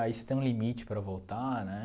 Aí você tem um limite para voltar, né?